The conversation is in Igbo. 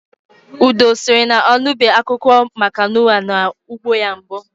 Udo sịrị na ọ nụbeghị akụkọ maka Nua na ụgbọ ya mbụ.